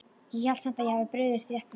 Ég held samt að ég hafi brugðist rétt við